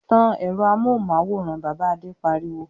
"Tan ẹ̀rọ amóhùmáwòhán! Bàbá Adé pariwo.